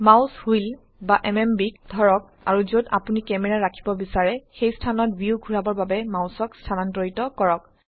mouse wheel বা MMBক ধৰক আৰু যত আপোনি ক্যামেৰা ৰাখিব বিচাৰে সেই স্থানত ভিউ ঘোৰাবৰ বাবে মাউসক স্থানান্তৰিত কৰক